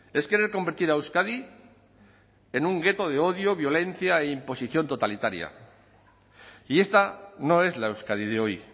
es querer convertir a euskadi en un gueto de odio violencia e imposición totalitaria y esta no es la euskadi de hoy